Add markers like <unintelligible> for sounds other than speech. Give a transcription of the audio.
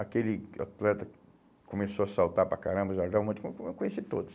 Aquele atleta que começou a saltar para caramba, <unintelligible> eu conheci todos.